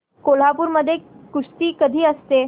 कोल्हापूर मध्ये कुस्ती कधी असते